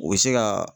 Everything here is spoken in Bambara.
U bɛ se ka